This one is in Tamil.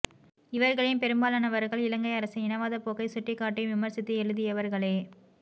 இவர்களில் பெரும்பாலானவர்கள் இலங்கை அரசின் இனவாதப் போக்கை சுட்டிக் காட்டியும் விமர்சித்தும் எழுதியவர்களே